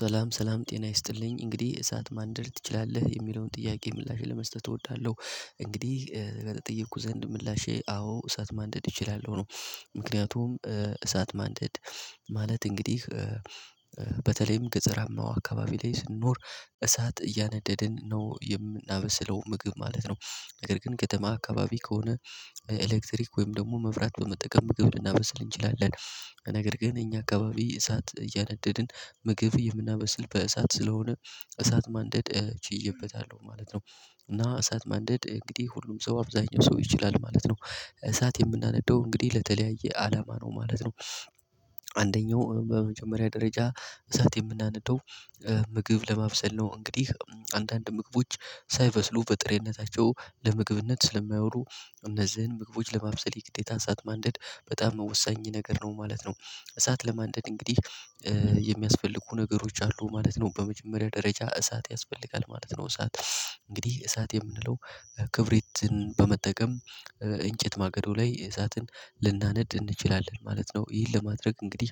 ሰላም ሰላም ጤና ይስጥልኝ እንግዲህ እሳት ማንደድ ትችላለህ የሚለውን ጥያቄ ምላሽ ለመስጠት እወዳለሁ እንግዲህ በተጠየኩ ዘንድ ምላሼ አዎ እሳት ማንደድ እችላለሁ ነው። ምክንያቱም እሳት ማንደድ ማለት እንግዲህ በተለይም ገጠራማው አካባቢ ላይ ስንኖር እሳት እያነደድን ነው የምናበስለው ምግብ ማለት ነው። ነገር ግን ከተማ አካባቢ ከሆነ ኤሌክትሪክ ወይም ደግሞ መብራት በመጠቀም ምግብ ልናበስል እንችላለን። ነገር ግን እኛ አካባቢ እሳት እያነደድን ምግብ የምናበስል በእሳት ስለሆነ እሳት ማንደድ ችዬበታለሁ ማለት ነው። እና እሳት ማንደድ እንግዲህ ሁሉም ሰው አብዛኛው ሰው ይችላል ማለት ነው። እሳት የምናነዳው እንግዲህ ለተለያየ አላማ ነው ማለት ነው። በመጀመሪያ ደረጃ እሳት የምናነደው ምግብ ለማብሰል ነው እንግዲህ አንዳንድ ምግቦች ሳይበስሉ በጥሬነታቸው ለምግብነት ስለማይውሉ እነዚህን ምግቦች ለማብሰል የግዴታ አሳት ማንደድ በጣም ወሳኝ ነገር ነው ማለት ነው። እሳት ለማንደድ እንግዲህ የሚያስፈልጉ ነገሮች አሉ ማለት ነው በመጀመሪያ ደረጃ እሳት ያስፈልጋል ማለት ነው። እሳት እንግዲህ እሳት የምንለው ክብሪትን በመጠቀም እንጨት ማገዶ ላይ እሳትን ልናነድ እንችላለን ማለት ነው። ይህን ለማድረግ እንግዲህ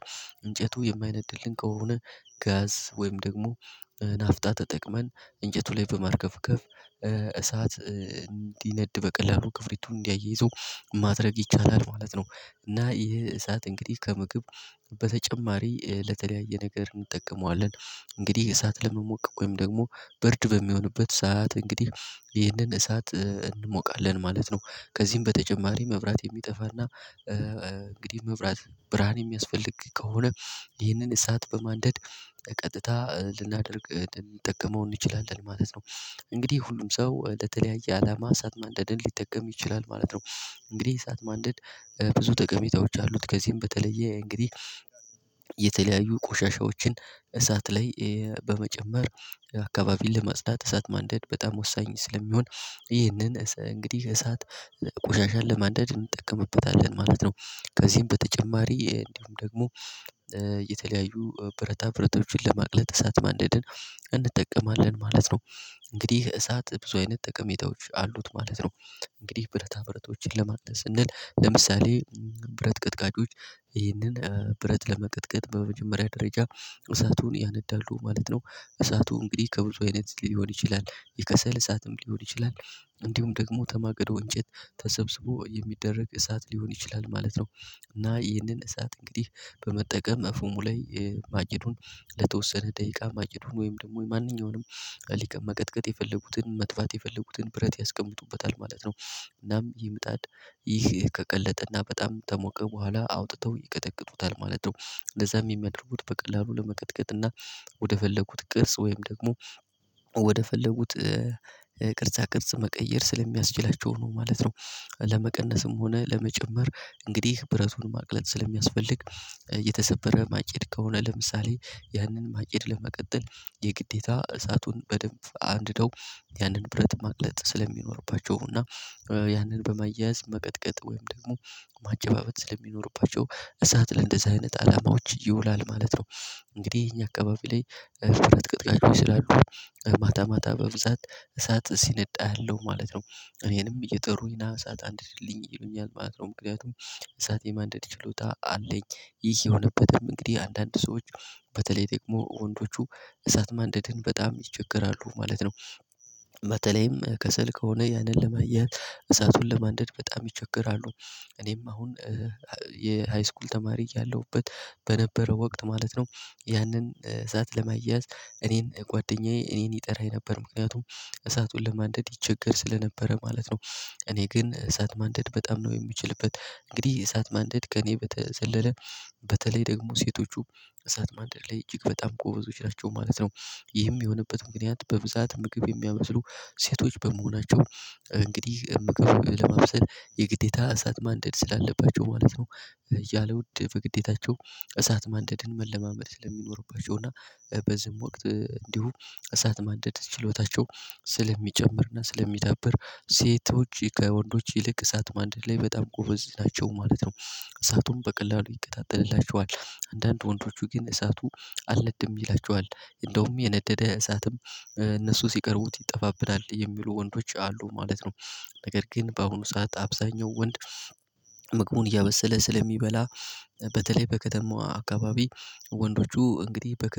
እንጨቱ የማይነድልን ከሆነ ጋዝ ወይም ደግሞ ናፍጣ ተጠቅመን እንጨቱ ላይ በማርከፍከፍ እሳት እንዲነድ በቀላሉ ክፍሪቱን እንዲያያይዘው ማድረግ ይቻላል ማለት ነው። እና ይሄ እሳት እንግዲህ ከምግብ በተጨማሪ ለተለያየ ነገር እንጠቀመዋለን። እንግዲህ እሳት ለመሞቀቅ ወይም ደግሞ ብርድ በሚሆንበት ሰዓት እንግዲህ ይህንን እሳት እንሞቃለን ማለት ነው። ከዚህም በተጨማሪ መብራት የሚጠፋና እንግዲህ መብራት ብርሃን የሚያስፈልግ ከሆነ ይህንን እሳት በማንደድ ቀጥታ ልናደርግ ልንጠቀመው እንችላለን ማለት ነው። እንግዲህ ሁሉም ሰው ለተለያየ አላማ እሳት ማንደድን ሊጠቀም ይችላል ማለት ነው። እንግዲህ እሳት ማንደድ ብዙ ጠቀሜታዎች አሉት ከዚህም በተለየ እንግዲህ የተለያዩ ቆሻሻዎችን እሳት ላይ በመጨመር አካባቢን ለማጽዳት እሳት ማንደድ በጣም ወሳኝ ስለሚሆን ይህንን እንግዲህ እሳት ቆሻሻን ለማዳድ እንጠቀምበታለን ማለት ነው። ከዚህም በተጨማሪ እንዲሁም ደግሞ የተለያዩ ብረታ ብረታቶችን ለማቅለጥ እሳት ማንደድን እንጠቀማለን ማለት ነው። እንግዲህ እሳት ብዙ አይነት ጠቀሜታዎች አሉት ማለት ነው። እንግዲህ ብረታ ብረቶችን ለማቅለጥ ስንል ለምሳሌ ብረት ቀጥቃጮች ይህንን ብረት ለመቀጥቀጥ በመጀመሪያ ደረጃ እሳቱን ያነዳሉ ማለት ነው። እሳቱ እንግዲህ ከብዙ አይነት ሊሆን ይችላል የከሰል እሳትም ሊሆን ይችላል። እንዲሁም ደግሞ ከማገዶ እንጨት ተሰብስቦ የሚደረግ እሳት ሊሆን ይችላል ማለት ነው። እና ይህንን እሳት እንግዲህ በመጠቀም ፍሙ ላይ ማጭዱን ለተወሰነ ደቂቃ ማጭዱን ወይም ደግሞ ማንኛውንም መቀጥቀጥ የፈለጉትን ማጥፋት የፈለጉትን ብረት ያስቀምጡበታል ማለት ነው። እናም ምጣድ ይህ ከቀለጠና በጣም ከሞቀ በኋላ አውጥተው ይቀጠቅጡታል ማለት ነው። ለዛም የሚያደርጉት በቀላሉ ለመቀጥቀጥና ወደ ፈለጉት ቅርጽ ወይም ደግሞ ወደ ፈለጉት ቅርጻ ቅርጽ መቀየር ስለሚያስችላቸው ነው ማለት ነው። ለመቀነስም ሆነ ለመጨመር እንግዲህ ብረቱን ማቅለጥ ስለሚያስፈልግ የተሰበረ ማጭድ ከሆነ ለምሳሌ ያንን ማቄድ ለመቀጠል የግዴታ እሳቱን በደንብ አንድደው ያንን ብረት ማቅለጥ ስለሚኖርባቸው እና ያንን በማያያዝ መቅጥቀጥ ወይም ደግሞ ማጨባበጥ ስለሚኖርባቸው እሳት ለእንደዚህ አይነት አላማዎች ይውላል ማለት ነው። እንግዲህ እኛ አካባቢ ላይ ስላሉ ማታ ማታ በብዛት እሳት ሲነድ አያለው ማለት ነው። እኔንም እየጠሩኝ ና እሳት አንድድልኝ ይሉኛል ማለት ነው ምክንያቱም እሳት የማንደድ ችሎታ አለኝ። ይህ የሆነበትም እንግዲህ አንዳንድ ሰዎች በተለይ ደግሞ ወንዶቹ እሳት ማንደድን በጣም ይቸገራሉ ማለት ነው። በተለይም ከሰል ከሆነ ያንን ለማያያዝ እሳቱን ለማንደድ በጣም ይቸገራሉ። እኔም አሁን የሃይስኩል ተማሪ ያለሁበት በነበረው ወቅት ማለት ነው። ያንን እሳት ለማያያዝ እኔን ጓደኛዬ እኔን ይጠራኝ ነበር ምክንያቱም እሳቱን ለማንደድ ይቸገር ስለነበረ ማለት ነው። እኔ ግን እሳት ማንደድ በጣም ነው የምችልበት እንግዲህ እሳት ማንደድ ከእኔ በተዘለለ በተለይ ደግሞ ሴቶቹ እሳት ማንደድ ላይ እጅግ በጣም ጎበዞች ናቸው ማለት ነው። ይህም የሆነበት ምክንያት በብዛት ምግብ የሚያበስሉ ሴቶች በመሆናቸው እንግዲህ ምግብ ለማብሰል የግዴታ እሳት ማንደድ ስላለባቸው ማለት ነው። ያለ ውድ በግዴታቸው እሳት ማንደድን መለማመድ ስለሚኖርባቸው እና በዚህም ወቅት እንዲሁ እሳት ማንደድ ችሎታቸው ስለሚጨምርና ስለሚዳብር ሴቶች ከወንዶች ይልቅ እሳት ማንደድ ላይ በጣም ጎበዝ ናቸው ማለት ነው። እሳቱም በቀላሉ ይቀጣጠልላቸዋል አንዳንድ ወንዶቹ ግን እሳቱ አልነድም ይላቸዋል እንደውም የነደደ እሳትም እነሱ ሲቀርቡት ይጠባፋብናል የሚሉ ወንዶች አሉ ማለት ነው። ነገር ግን በአሁኑ ሰዓት አብዛኛው ወንድ ምግቡን እያበሰለ ስለሚበላ በተለይ በከተማው አካባቢ ወንዶቹ እንግዲህ በከሰል